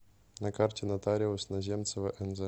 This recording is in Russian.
на карте нотариус наземцева нз